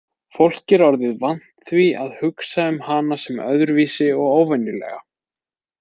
Fólk var orðið vant því að hugsa um hana sem öðruvísi og óvenjulega.